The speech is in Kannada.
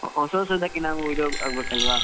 ಹೊಸ ಹೊಸದಕ್ಕೆ ನಾವು ಇದ್~ ಆಗಬೇಕಲ್ವಾ.